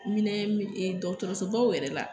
Minɛn mi ee dɔgɔrɔsobaw yɛrɛ la